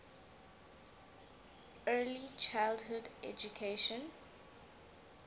early childhood education